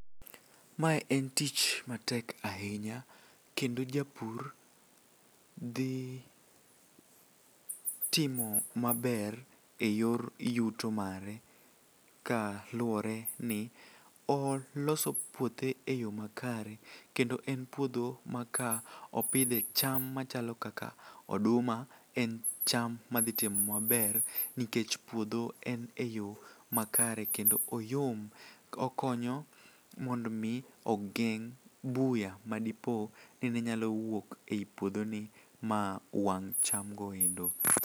Mae en tich matek ahinya kendo japur dhi timo maber e yor yuto mare ka luwore ni oloso puothe e yo makare kendo en puodho ma ka opidhe cham machalo kaka oduma en cham madhitimo maber nikech puodho en e yo makare kendo oyom okonyo mondo omi ogeng' buya madipo ni ne nyalo wuok e i puodhoni ma wang' chamgo endo.